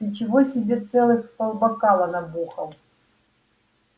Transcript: ты чего себе целых полбокала набухал